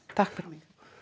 takk fyrir